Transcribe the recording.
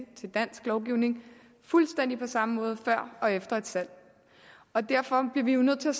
til dansk lovgivning fuldstændig på samme måde før og efter et salg og derfor bliver vi jo nødt til